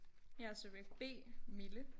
Jeg er subjekt B Mille